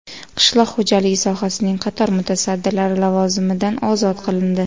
Qishloq xo‘jaligi sohasining qator mutasaddilari lavozimidan ozod qilindi.